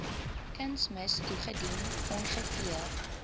kunsmis toegedien ongeveer